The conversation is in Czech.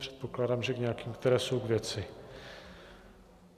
Předpokládám, že k nějakým, které jsou k věci.